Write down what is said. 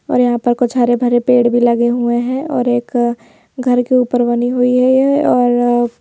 और यहां पर कुछ हरे भरे पेड़ भी लगे हुए हैं और एक अ अ घर के ऊपर बनी हुई है यह और अ अ--